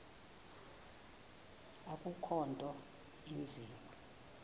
akukho nto inzima